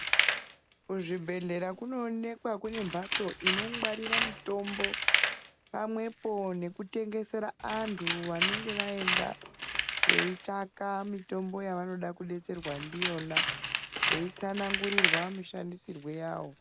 Kuzvibhedhlera kunoonekwa kune mhatso inongwarira mitombo, pamwepo nekutengesera anthu vanenge vaenda ,veitsvaka mitombo yavanenge veide kudetserwa ndiyona ,veitsanangurirwa mushandisirwe yawo.